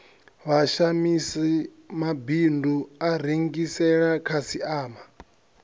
vhashamisi mabindu a rengisela khasiama